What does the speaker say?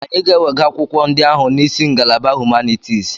Anyị ga-ewega akwụkwọ ndị ahụ n'isi ngalaba Humanitis.